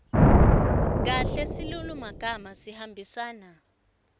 kahle silulumagama sihambisana